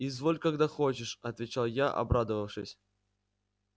изволь когда хочешь отвечал я обрадовавшись